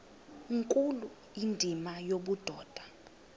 nkulu indima yobudoda